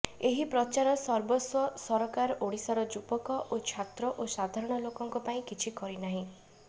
ଏହି ପ୍ରଚାର ସର୍ବସ୍ୱ ସରକାର ଓଡ଼ିଶାର ଯୁବକ ଓ ଛାତ୍ର ଓ ସାଧାରଣ ଲୋକଙ୍କ ପାଇଁ କିଛି କରିନାହିଁ